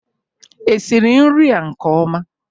Esiri nri a nke ọma?